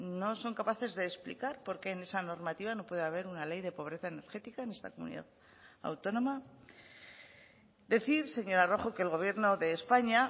no son capaces de explicar por qué en esa normativa no puede haber una ley de pobreza energética en esta comunidad autónoma decir señora rojo que el gobierno de españa